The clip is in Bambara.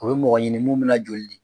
O ye mɔgɔɲini mun bɛ na joli di.